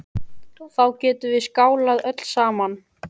Þá getum við skálað öll saman.